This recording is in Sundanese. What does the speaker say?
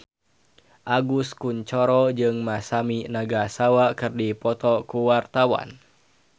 Agus Kuncoro jeung Masami Nagasawa keur dipoto ku wartawan